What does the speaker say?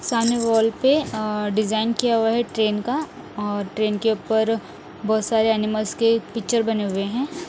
सामने वॉल पे अ डिज़ाइन किया हुआ है ट्रेन का और ट्रेन के ऊपर बहोत सारे एनिमल्स के पिक्चर बने हुए हैं।